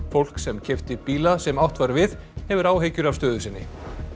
fólk sem keypti bíla sem átt var við hefur áhyggjur af stöðu sinni